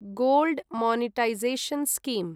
gold monetisation scheme